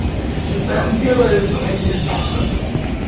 ээ че там делаешь батя кхе бля кхе